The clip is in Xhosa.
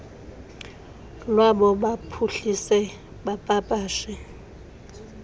lwabo baphuhlise bapapashe